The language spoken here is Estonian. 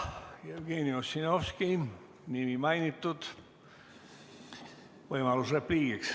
Jah, Jevgeni Ossinovski nimi mainitud, võimalus repliigiks.